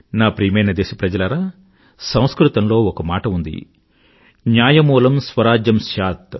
నా ప్రియమైన దేశప్రజలారా సంస్కృతంలో ఒక మాట ఉంది న్యాయమూలం స్వరాజ్యం స్యాత్